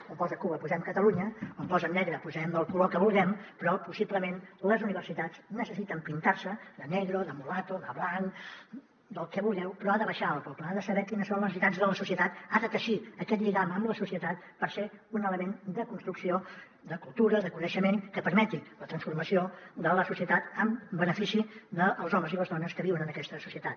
on posa cuba posem catalunya on posa negre posem el color que vulguem però possiblement les universitats necessiten pintar se de negro o de ble ha de saber quines són les necessitats de la societat ha de teixir aquest lligam amb la societat per ser un element de construcció de cultura de coneixement que permeti la transformació de la societat en benefici dels homes i les dones que viuen en aquesta societat